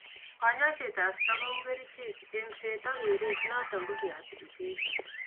Kanyoiset ab stroke kou kerichek, eng'set ak keret notok ko rehabilitation